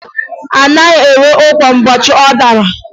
A naghị ere ụkwa ụbọchị ọ dara